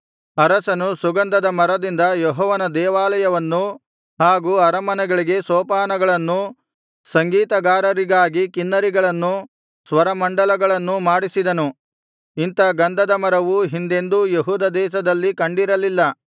ಅರಸನು ಸುಗಂಧದ ಮರದಿಂದ ಯೆಹೋವನ ದೇವಾಲಯವನ್ನು ಹಾಗೂ ಅರಮನೆಗಳಿಗೆ ಸೋಪಾನಗಳನ್ನೂ ಸಂಗೀತಗಾರರಿಗಾಗಿ ಕಿನ್ನರಿಗಳನ್ನೂ ಸ್ವರಮಂಡಲಗಳನ್ನೂ ಮಾಡಿಸಿದನು ಇಂಥ ಗಂಧದ ಮರವು ಹಿಂದೆಂದೂ ಯೆಹೂದ ದೇಶದಲ್ಲಿ ಕಂಡಿರಲಿಲ್ಲ